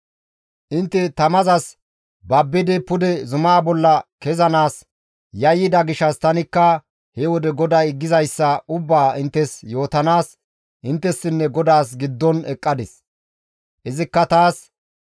Intte tamazas babbidi pude zumaa bolla kezanaas yayyida gishshas tanikka he wode GODAY gizayssa ubbaa inttes yootanaas inttessinne GODAAS giddon eqqadis. «Izikka taas,